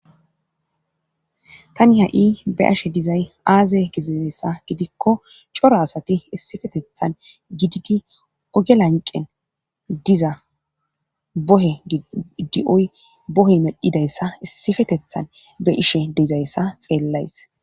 tani ha7i be ashe dizay aaze gizidayssa gidikko coro asati issifetethan gididi ogelanqen diza bohe dioy bohey medhidayssa issifetethan be ishe dizayssa xeellays